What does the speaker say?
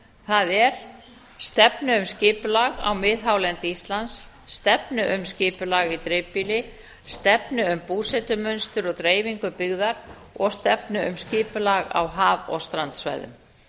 það er stefnu um skipulag á miðhálendi íslands stefnu um skipulag í dreifbýli stefnu um búsetumynstur og dreifingu byggðar og stefnu um skipulag á haf og strandsvæðum